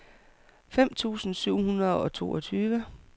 fem tusind syv hundrede og toogtyve